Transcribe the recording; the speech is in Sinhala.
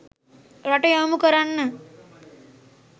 රට යොමු කරන්න